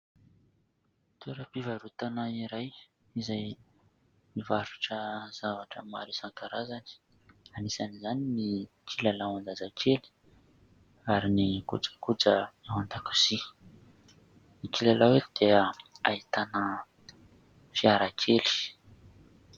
Toeram-pivarotana iray izay mivarotra zavatra maro isan-karazany. Anisan'izany ny kilalaon-jazakely ary ny kojakoja ao an-dakozia. Ny kilalao eto dia ahitana fiara kely.